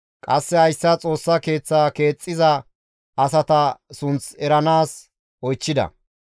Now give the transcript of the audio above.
Qasse hayssa Xoossa Keeththa keexxiza asata sunth eranaas oychchida.